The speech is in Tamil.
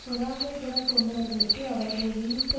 பொறாமைக் குணம் கொண்டவர்களுக்கு அவர்களை வீழ்த்த